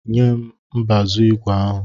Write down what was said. Nyem mbazu igwe ahụ!